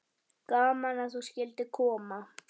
Gaman að þú skyldir koma.